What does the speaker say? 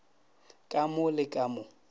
ka mo le ka mo